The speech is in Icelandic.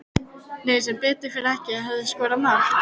Nei sem betur fer ekki Hefurðu skorað mark?